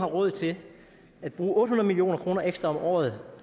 råd til at bruge otte hundrede million kroner ekstra om året